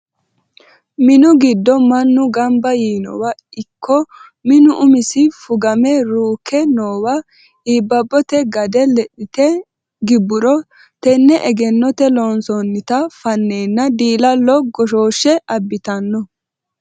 Minu giddo mannu gamba yiinowa ikko minu umisi fugame ruukke noowa iibbabote gade lexite gibburo tene egennote loonsonnitta fanenna diila'lo goshoshe abbittano.